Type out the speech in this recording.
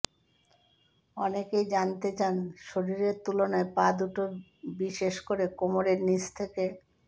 অনেকেই জানতে চান শরীরের তুলনায় পা দুটো বিশেষ করে কোমরের নিচ থেকে